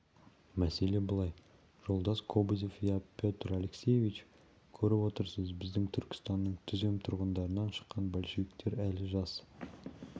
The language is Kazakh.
мәселе былай жолдас кобозев иә петр алексеевич көріп отырсыз біздің түркістанның түзем тұрғындарынан шыққан большевиктер әлі жас